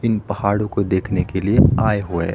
इन पहाड़ों को देखने के लिए आये हुए--